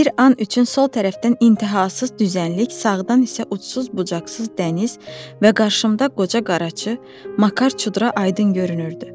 Bir an üçün sol tərəfdən intəhasız düzənlik, sağdan isə ucsuz-bucaqsız dəniz və qarşımda qoca qaraçı Makar Çudra aydın görünürdü.